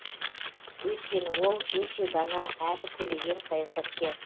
өйткені ол өте дана әрі көреген саясаткер